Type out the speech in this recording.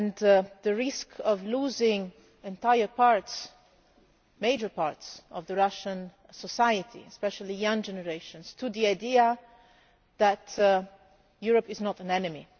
There is a risk of losing entire parts, major parts, of Russian society especially the young generations to the idea that Europe is not an enemy.